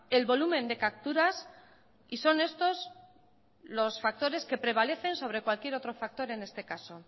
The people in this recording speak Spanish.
el volumen de capturas y son estos los factores que prevalecen sobre cualquier otro factor en este caso